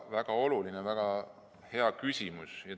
Väga oluline, väga hea küsimus!